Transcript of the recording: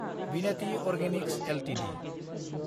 Bhinathi organics Ltd